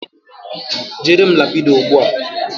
Jere m Ladipo ugbua.